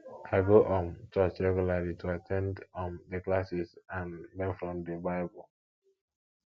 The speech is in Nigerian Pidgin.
i go um church regularly to at ten d um di classes and learn from di bible